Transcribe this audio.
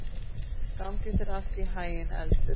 Gangi þér allt í haginn, Eldur.